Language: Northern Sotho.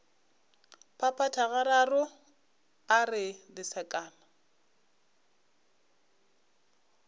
phaphatha gararo a re lesekana